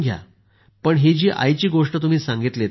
पण ही जी आईची गोष्ट तुम्ही सांगितलीत ना